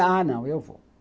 Ah, não, eu vou.